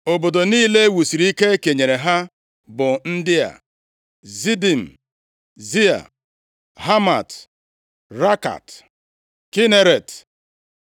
Obodo niile e wusiri ike e kenyere ha bụ ndị a: Zidim, Zea, Hamat, Rakat, Kineret,